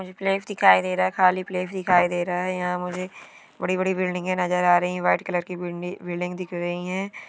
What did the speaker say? मुझे फ्लेट दिखाई दे रहा है खाली फ्लेट दिखाई दे रहा है यहाँ मुझे बड़ी बड़ी बिल्डिंगें नजर आ रही है| वाइट कलर की बिल्डिंग दिख रही है।